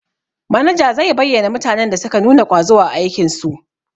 Manaja zai bayyana mutanen da suka nuna ƙwazo a aikin su.